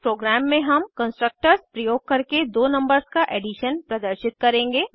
इस प्रोग्राम में हम कंस्ट्रक्टर्स प्रयोग करके दो नंबर्स का एडिशन प्रदर्शित करेंगे